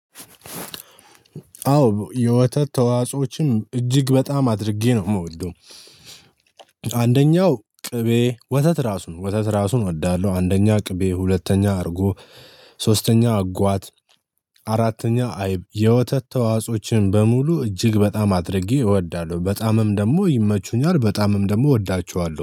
አዎ የወተት ተዋጽኦችን እጅግ በጣም አድርጌ ነው የምወደው። አንደኛው ቅቤ ወተት ራሱን ወተት ራሱን እወዳለሁ። አንደኛ ቅቤ ሁለተኛ አድርጎ ሶስተኛ አጓት አራተኛ አይብ የወተት ተዋጽኦችን በሙሉ እጅግ በጣም አድርጌ እወዳለሁ። በጣምም ደግሞ ይመቹኛል በጣምም ደግሞ እወዳቸዋለሁ